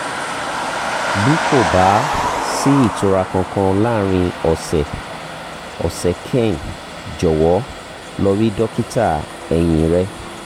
bí kò bá sí ìtura kankan láàárín ọ̀sẹ̀ ọ̀sẹ̀ kanẹ jọ̀wọ́ lọ rí dókítà ẹ̀yìn rẹ